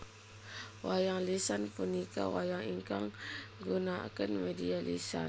Wayang lisan punika wayang ingkang nggunaaken media lisan